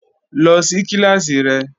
Lọ sí kíláàsì rẹ!